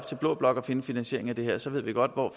til blå blok at finde finansieringen til det her så ved vi godt hvor